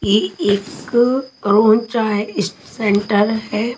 ये एक सेंटर है।